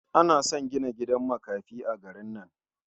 Na san gidan gidan makafi a garin nan.